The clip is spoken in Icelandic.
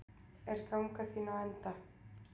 Er ganga þín á enda?